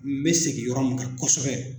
N mɛ segin yɔrɔ min kan kɔsɛbɛ